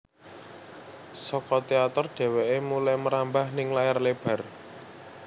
Saka teater dheweké mulai merambah ning layar lebar